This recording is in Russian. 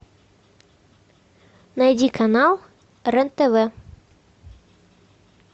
найди канал рен тв